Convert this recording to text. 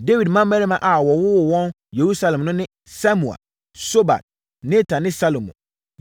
Dawid mmammarima a wɔwoo wɔn Yerusalem no ne Samua, Sobab, Natan ne Salomo,